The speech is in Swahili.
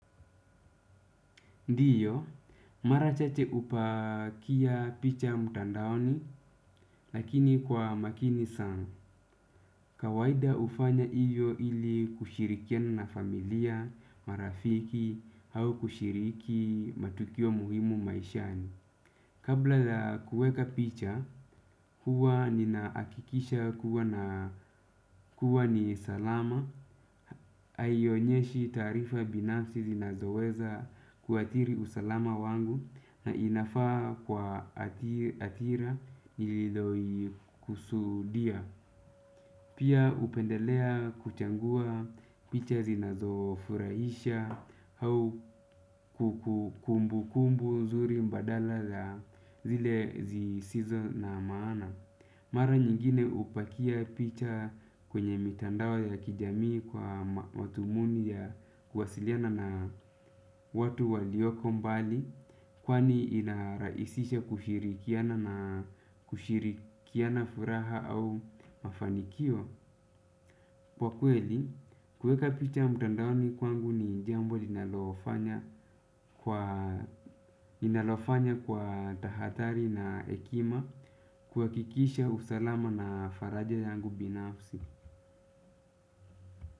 Ndio, mara chache hupakia picha mtandaoni, lakini kwa makini zangu. Kawaida hufanya hiyo ili kushirikiana na familia, marafiki, au kushiriki matukio muhimu maishani. Kabla la kuweka picha, huwa ninahakikisha kuwa ni salama, haionyeshi taarifa binafsi zinazoweza kuathiri usalama wangu na inafaa kwa hathira ililoikusudia. Pia hupendelea kuchagua picha zinazofurahisha au kumbukumbu nzuri badala la zile zisizo na maana. Mara nyingine hupakia picha kwenye mitandao ya kijamii kwa madhumuni ya kuwasiliana na watu walioko mbali kwani inarahisisha kushirikiana na kushirikiana furaha au mafanikio. Kwa kweli, kuweka picha mtandaoni kwangu ni jambo linalofanya ninalofanya kwa tahadhari na hekima kuhakikisha usalama na faraja yangu binafsi.